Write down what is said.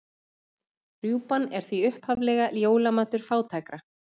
Rjúpan er því upphaflega jólamatur fátækra.